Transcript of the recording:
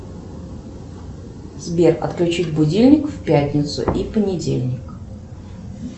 сбер отключить будильник в пятницу и в понедельник